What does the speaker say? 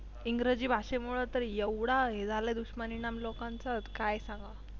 इंग्रजी भाषेमूळ तर एवढा हे झाल दुष्परिणाम लोकांच की काय सांगाव.